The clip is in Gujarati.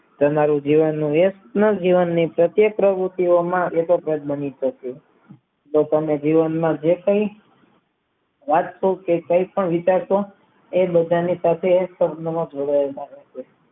તમારી જેવાને પ્રતિ પ્રવતિઓમાં એક જ પેડ બન્યું છે પોતાના જીવનમાં જે કાય રાષ્ટ્રો કે કોઈ પણ વિકાસો એ બધાને પાસે એક પગમાં જોડાયેલા હોય